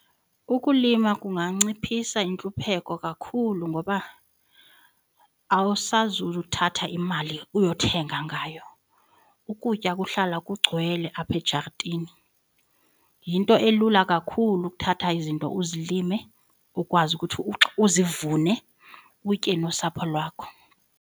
Ukulima kunganciphisa intlupheko kakhulu ngoba awusazuthatha imali uyothenga ngayo. Ukutya kuhlala kugcwele apha ejartini. Yinto elula kakhulu ukuthatha izinto uzilime ukwazi ukuthi uzivune utye nosapho lwakho.